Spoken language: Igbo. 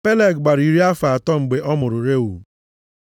Peleg gbara iri afọ atọ mgbe ọ mụrụ Reu.